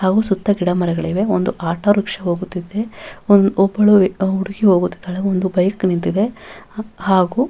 ಹಾಗು ಸುತ್ತ ಗಿಡಮರಗಳಿವೆ ಒಂದು ಆಟೋರಿಕ್ಷಾ ಹೋಗುತ್ತಿದೆ ಒಂದು ಒಬ್ಬಳು ಹುಡುಗಿ ಹೋಗುತ್ತಿದ್ದಾಳೆ ಒಂದು ಬೈಕ್ ನಿಂತಿದೆ ಹಾಗು--